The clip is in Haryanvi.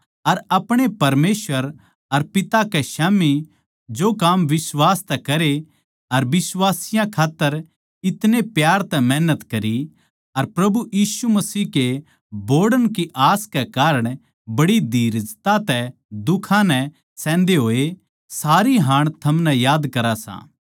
अर अपणे परमेसवर अर पिता कै स्याम्ही जो काम बिश्वास तै करे अर बिश्वासियाँ खात्तर इतणे प्यार तै मेहनत करी अर प्रभु यीशु मसीह के बोहड़ण की आस के कारण बड़ी धीरजता तै दुखां नै सहन्दे होए सारी हाण थमनै याद करा सां